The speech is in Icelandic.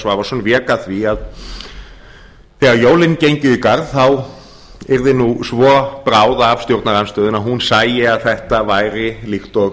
svavarsson vék að því að þegar jólin gengu í garð þá yrði nú svo bráð af stjórnarandstöðunni að hún sæi að þetta væri líkt og